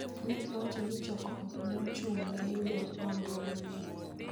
Ne giwacho ni chokruogno ne ochung�ne yudo nonro manyien